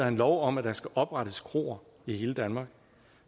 en lov om at der skal oprettes kroer i hele danmark